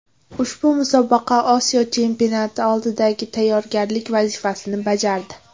Ushbu musobaqa Osiyo chempionati oldidan tayyorgarlik vazifasini bajardi.